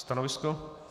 Stanovisko?